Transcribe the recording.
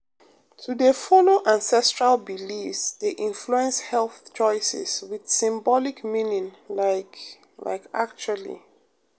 to dey follow ancestral beliefs dey influence health choices with symbolic meaning like like actually